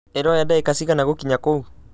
ĩroya ndagĩka cigana gũkinya kũu